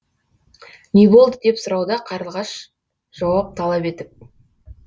не болды деп сұрауда қарлығаш жауап талап етіп